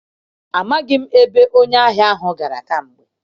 Amaghị m ebe onye ahia ahụ gara kamgbe.